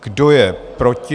Kdo je proti?